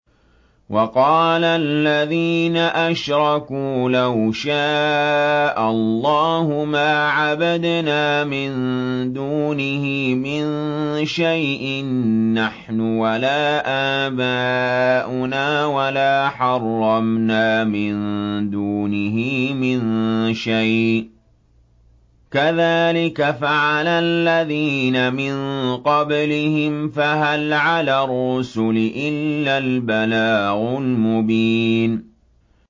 وَقَالَ الَّذِينَ أَشْرَكُوا لَوْ شَاءَ اللَّهُ مَا عَبَدْنَا مِن دُونِهِ مِن شَيْءٍ نَّحْنُ وَلَا آبَاؤُنَا وَلَا حَرَّمْنَا مِن دُونِهِ مِن شَيْءٍ ۚ كَذَٰلِكَ فَعَلَ الَّذِينَ مِن قَبْلِهِمْ ۚ فَهَلْ عَلَى الرُّسُلِ إِلَّا الْبَلَاغُ الْمُبِينُ